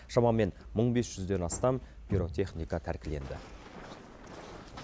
шамамен мың бес жүзден астам пиротехника тәркіленді